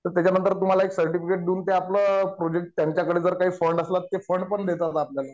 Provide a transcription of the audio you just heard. त्याच्यानंतर तुम्हाला एक सर्टिफिकेट देऊन ते आपलं प्रोजेक्ट त्यांच्याकडे जर काही फंड असेल तर ते फंड पण देतात आपल्याला.